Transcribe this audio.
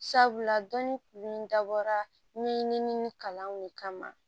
Sabula dɔnni min dabɔra ɲinini kalanw de kama